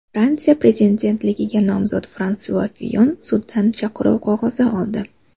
Fransiya prezidentligiga nomzod Fransua Fiyon suddan chaqiruv qog‘ozi oldi.